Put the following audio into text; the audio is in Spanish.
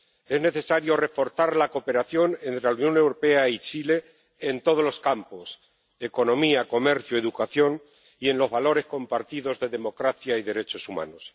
Es necesario reforzar la cooperación entre la Unión Europea y Chile en todos los campos economía, comercio, educación y en los valores compartidos de democracia y derechos humanos.